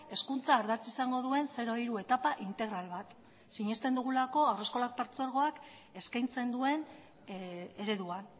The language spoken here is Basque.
hezkuntza ardatz izango duen zero hiru etapa integral bat sinesten dugulako haurreskola partzuergoak eskaintzen duen ereduan